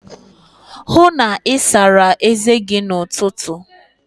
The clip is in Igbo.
Hụụ na Ị sara eze gi n'ụtụtụ!